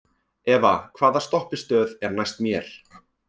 Eva, hvaða stoppistöð er næst mér?